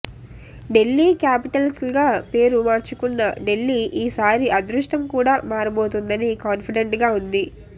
ఢిల్లీ క్యాపిటల్స్గా పేరు మార్చుకున్న ఢిల్లీ ఈ సారి అదృష్టం కూడా మారబోతోందని కాన్ఫిడెంట్ గా ఉంది